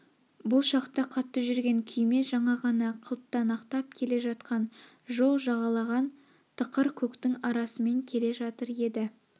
бұл шақта қатты жүрген күйме жаңа ғана қылтанақтап келе жатқан жол жағалаған тықыр көктің арасымен келе жатыр еді